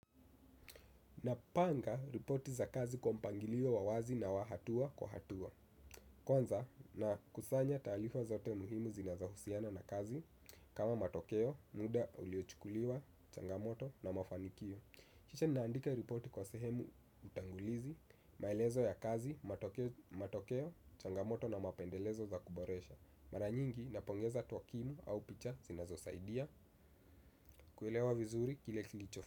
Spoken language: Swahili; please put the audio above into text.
Napanga ripoti za kazi kwa mpangilio wa wazi na wa hatua kwa hatua. Kwanza na kusanya taarifa zote muhimu zinazo husiana na kazi. Kama matokeo, muda uliochikuliwa, changamoto na mafanikio kisha naandika ripoti kwa sehemu utangulizi, maelezo ya kazi, matokeo, changamoto na mapendekezo za kuboresha. Mara nyingi napongeza twakimu au picha zinazosaidia. Kuelewa vizuri kile kichofu.